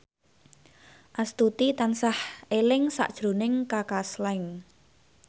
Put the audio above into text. Astuti tansah eling sakjroning Kaka Slank